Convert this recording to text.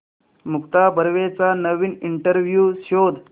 मुक्ता बर्वेचा नवीन इंटरव्ह्यु शोध